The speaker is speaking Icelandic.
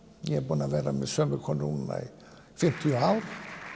ég er búinn að vera með sömu konu núna í fimmtíu ár